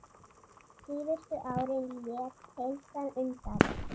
Síðustu árin lét heilsan undan.